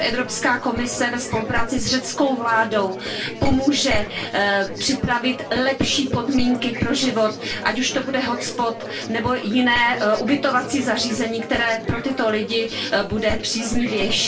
ráda, že Evropská komise ve spolupráci s řeckou vládou pomůže připravit lepší podmínky pro život, ať už to bude hotspot nebo jiné ubytovací zařízení, které pro tyto lidi bude příznivější.